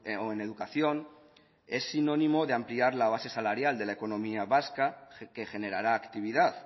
o en educación es sinónimo de ampliar la base salarial de la economía vasca que generará actividad